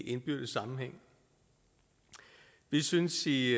indbyrdes sammenhæng vi synes i